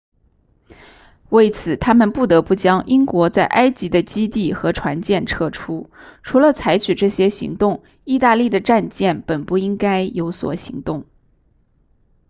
为此他们不得不将英国在埃及的基地和船舰撤出除了采取这些行动意大利的战舰本不应该有所行动